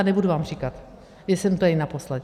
A nebudu vám říkat, jestli jsem tady naposled.